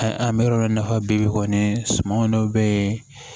An bɛ yɔrɔ min na i n'a fɔ bi kɔni suman dɔ bɛ yen